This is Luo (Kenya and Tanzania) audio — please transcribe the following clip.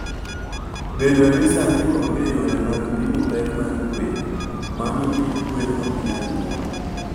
Bedo ni sani onge yore mag pimo pek mar gwen, mano miyo gwen ok nyal nyuol.